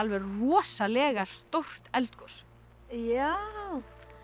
rosalega stórt eldgos já